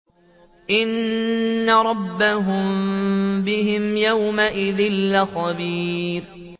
إِنَّ رَبَّهُم بِهِمْ يَوْمَئِذٍ لَّخَبِيرٌ